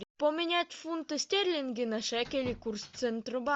поменять фунты стерлинги на шекели курс